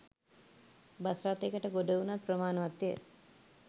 bus රථයකට ගොඩවුවත් ප්‍රමාණවත්ය